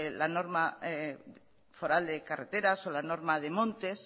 la norma foral de carreteras o la norma de montes